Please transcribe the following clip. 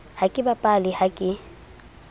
ha ke bapale ha ke